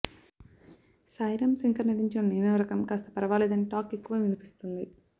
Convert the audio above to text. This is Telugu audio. సాయి రామ్ శంకర్ నటించిన నేనోరకం కాస్త పర్వాలేదని టాక్ ఎక్కువ వినిపిస్తుంది